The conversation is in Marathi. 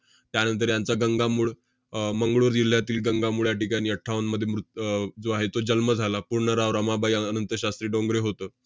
त्यानंतर यांचा गंगामूळ~ अह मंगळूर जिल्ह्यातील गंगामूळ या ठिकाणी अठ्ठावन्नमध्ये मृत~ अह जो आहे तो जन्म झाला. पूर्ण राव~ रमाबाई अन~ अनंतशास्त्री डोंगरे होतं.